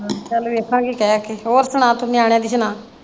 ਚੱਲ ਵੇਖਾਂਗੀ ਕਹਿ ਕੇ ਹੋਰ ਸੁਣਾ ਤੂੰ ਨਿਆਣਿਆਂ ਦੀ ਸੁਣਾ?